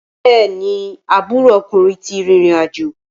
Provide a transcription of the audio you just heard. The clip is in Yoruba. Bẹ́ẹ̀ni, aburo ọkùnrin ti rìrìn àjò.